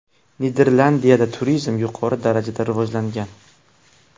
Niderlandiyada turizm yuqori darajada rivojlangan.